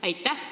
Aitäh!